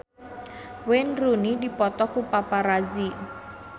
Wayne Rooney dipoto ku paparazi